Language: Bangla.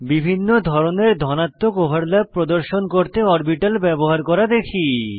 বিভিন্ন ধরনের ধনাত্মক ওভারল্যাপ প্রদর্শন করতে অরবিটাল ব্যবহার করা দেখি